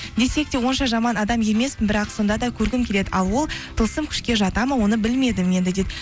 десек те онша жаман адам емеспін бірақ сонда да көргім келеді ал ол тылсым күшке жатады ма оны білмедім енді дейді